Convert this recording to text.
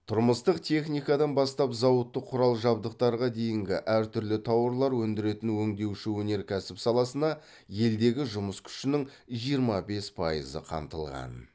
тұрмыстық техникадан бастап зауыттық құрал жабдықтарға дейінгі әр түрлі тауарлар өндіретін өңдеуші өнеркәсіп саласына елдегі жұмыс күшінің жиырма бес пайызы қамтылған